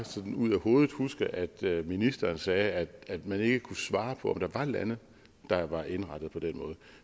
ud af hovedet huske at ministeren sagde at at man ikke kunne svare på om der var lande der var indrettet på den måde